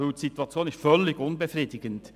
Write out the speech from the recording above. Die Situation ist völlig unbefriedigend.